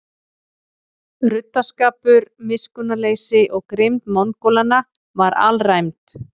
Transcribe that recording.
Ruddaskapur, miskunnarleysi og grimmd Mongólanna var alræmd.